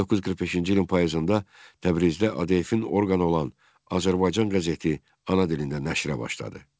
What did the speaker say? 1945-ci ilin payızında Təbrizdə ADF-in orqanı olan Azərbaycan qəzeti ana dilində nəşrə başladı.